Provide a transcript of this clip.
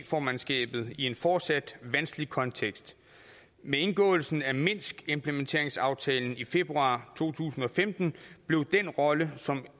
formandskabet i en fortsat vanskelig kontekst med indgåelsen af minskimplementeringsaftalen i februar to tusind og femten blev den rolle som